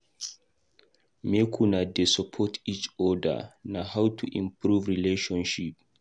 Make una dey support eachoda, na how to improve relationship